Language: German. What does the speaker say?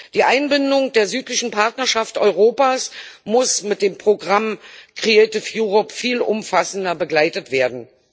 Die Einbindung der Südlichen Partnerschaft Europas muss mit dem Programm Kreatives Europa viel umfassender begleitet werden.